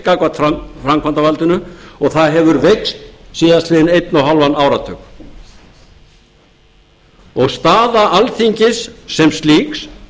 gagnvart framkvæmdarvaldinu og það hefur veikst síðastliðinn einn og hálfan áratug staða alþingis sem slíks